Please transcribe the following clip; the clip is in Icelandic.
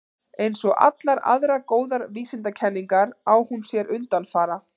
Eins og allar aðrar góðar vísindakenningar á hún sér undanfara.